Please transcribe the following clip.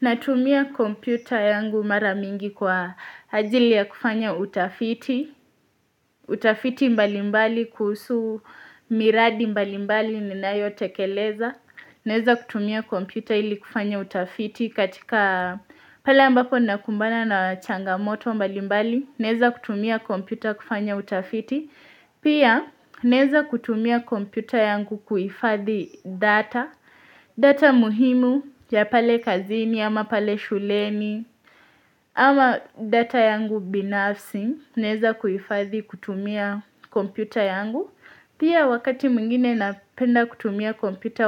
Natumia kompyuta yangu mara mingi kwa ajili ya kufanya utafiti, utafiti mbalimbali kuhusu miradi mbalimbali ninayotekeleza. Naeza kutumia kompyuta ili kufanya utafiti katika pale ambapo ninakumbana na changamoto mbalimbali. Naeza kutumia kompyuta kufanya utafiti. Pia naeza kutumia kompyuta yangu kuhifadhi data. Data muhimu ya pale kazini, ama pale shuleni, ama data yangu binafsi, naeza kuhifadhi kutumia kompyuta yangu. Pia wakati mwingine napenda kutumia